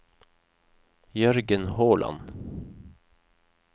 Jørgen Håland